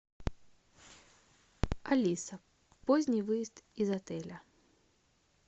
алиса поздний выезд из отеля